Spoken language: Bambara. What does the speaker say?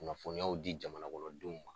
Kunnafoniyaw di jamanakɔnɔdenw ma